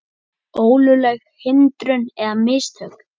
Ólögleg hindrun eða mistök?